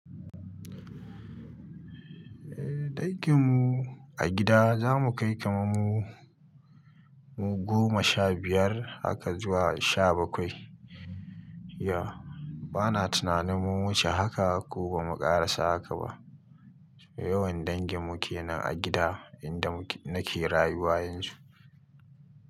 Eh dangin mu a gida za mu kai kaman mu goma sha biyar haka zuwa sha bakwai. Ya, bana tunanin mun wuce haka ko bamu ƙarasa haka ba. Yawan dangin mu ke nan a gida inda nake rayuwa yanzu.